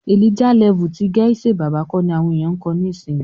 "Elijah level" ti Gaise Baba kọ ni àwọn ènìyàn ń kọ nísìyí.